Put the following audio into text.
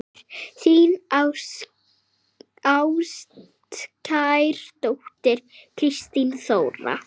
Þín ástkær dóttir, Kristín Þóra.